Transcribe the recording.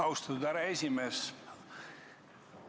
Austatud härra esimees!